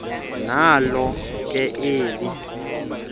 nalo ke eli